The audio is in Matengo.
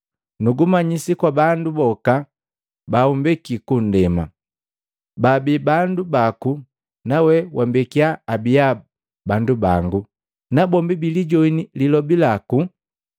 “Nugumanyisi kwa bandu boka baumbeki kundema. Babi bandu baku nawe wambekya abia bandu bangu, nabombi bilijoini lilobi laku.